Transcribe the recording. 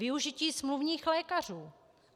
Využití smluvních lékařů.